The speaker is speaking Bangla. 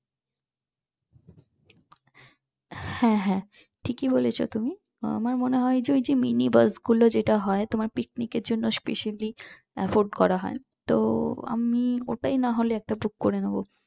হ্যাঁ হ্যাঁ ঠিকই বলেছো তুমি আমার মনে হয় ওই যে mini বাস গুলো যেটা হয় তোমার picnic এর জন্য afford করা হয় তো আমি ওটাই নাহয় একটা book করে নিব